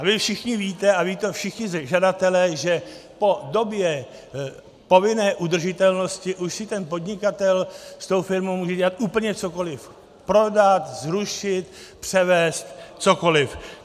A vy všichni víte a vědí to všichni žadatelé, že po době povinné udržitelnosti už si ten podnikatel s tou firmou může dělat úplně cokoliv - prodat, zrušit, převést, cokoliv.